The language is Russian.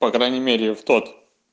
по крайней мере в тот